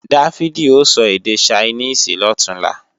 Dáfídì ó sọ èdè Ṣainíìsì lọ̀túnla